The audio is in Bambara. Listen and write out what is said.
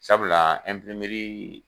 Sabula